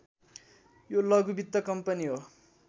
यो लघु वित्त कम्पनी हो